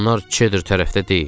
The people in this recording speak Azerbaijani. Onlar Çedr tərəfdə deyil?